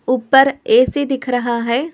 ऊपर ऐ_सी दिख रहा है।